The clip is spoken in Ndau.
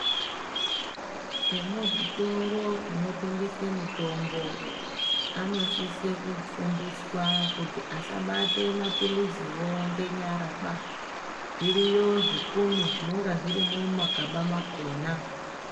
Emu zvitoro zvino tengesa mitombo ano sise kufundiswa kuti asa bate ma pilizi wo nge nyara ba zviriyo zvipunu zvinenge zvirimo muma gaba makona.